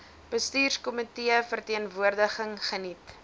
bestuurskomitee verteenwoordiging geniet